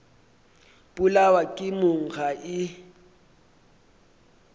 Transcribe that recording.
polawa ke mong ga e